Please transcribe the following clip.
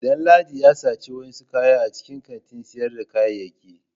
Danladi ya saci wasu kaya a cikin kantin sayarda kayayyaki.